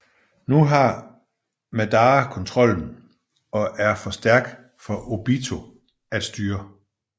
Nu har Madara kontrollen og er for stærk for Obito at styre